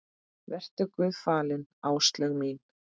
Vertu Guði falin, Áslaug mín.